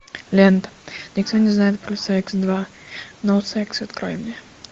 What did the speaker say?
лента никто не знает про секс два ноу секс открой мне